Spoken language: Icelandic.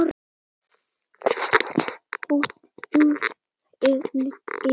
Oddur Helgi.